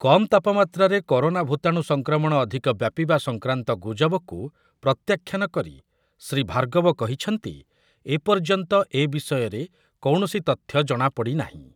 କମ୍ ତାପମାତ୍ରାରେ କରୋନା ଭୂତାଣୁ ସଂକ୍ରମଣ ଅଧୂକ ବ୍ୟାପିବା ସଂକ୍ରାନ୍ତ ଗୁଜବକୁ ପ୍ରତ୍ୟାଖ୍ୟାନ କରି ଶ୍ରୀ ଭାର୍ଗବ କହିଛନ୍ତି, ଏପର୍ଯ୍ୟନ୍ତ ଏ ବିଷୟରେ କୌଣସି ତଥ୍ୟ ଜଣାପଡ଼ି ନାହିଁ ।